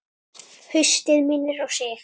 Haustið minnir á sig.